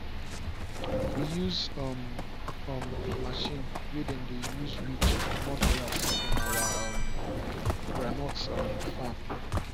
we use um um machine way dem dey use weed to commot grass from our um groundnut um farm.